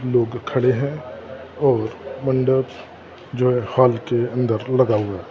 लोग खड़े हैं और मंडप जो हॉल के अंदर लगा हुआ हैं।